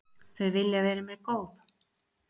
Þau vilja vera mér góð.